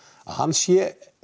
að hann sé